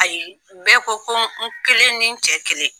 Ayi bɛɛ ko ko n kelen ni n cɛ kelen!